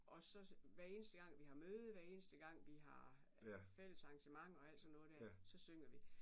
Og så hver eneste gang vi har møde hver eneste gang vi har fællesarrangementer og alt sådan noget der så synger vi